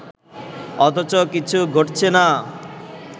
অথচ কিছু ঘটছে না